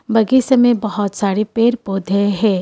बगीसे में बहुत सारे पेड़ पौधे है।